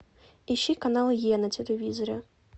ищи канал е на телевизоре